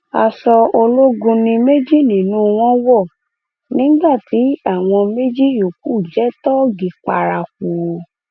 aṣọ ológun ni méjì nínú wọn wọ nígbà tí àwọn méjì yòókù jẹ tóógì paraku